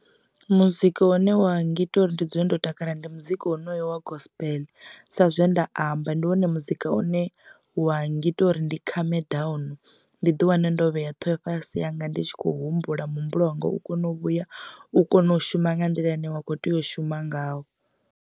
Muzika une wa ngita uri ndi dzule ndo takala ndi muzika wonoyu wa gospel sa zwe nda amba ndi wone muzika une wa ngita uri ndi khame down ndi ḓi wane ndo vhea ṱhoho fhasi yanga ndi tshi khou humbula muhumbulo wanga u kone u vhuya u kone u shuma nga nḓila ine wa kho tea u shuma ngayo.